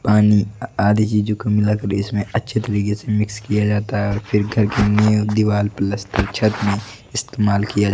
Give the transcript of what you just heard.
पानी आ आदि चीजों को मिलाकर इसमें अच्छे तरीके से मिक्स किया जाता है और फिर करके में दीवाल प्लस्तर छत में इस्तेमाल किया ज--